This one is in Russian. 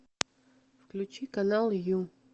включи канал ю